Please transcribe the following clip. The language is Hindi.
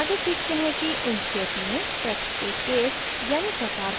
आगे सीखते हैं कि inkscape में text के case यानि प्रकार को case बदलते हैं